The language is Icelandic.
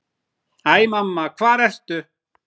Æ, amma hvar ertu?